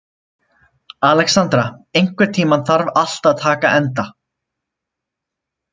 Alexandra, einhvern tímann þarf allt að taka enda.